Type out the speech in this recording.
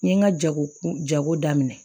N ye n ka jago jago daminɛ